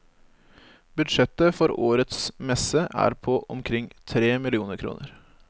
Budsjettet for årets messe er på omkring tre millioner kroner.